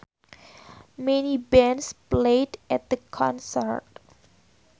Many bands played at the concert